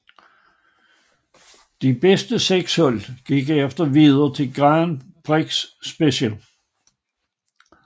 De bedste seks hold gik herefter videre til Grand Prix Special